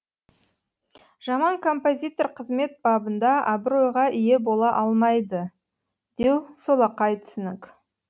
жаман композитор қызмет бабында абыройға ие бола алмайды деу солақай түсінік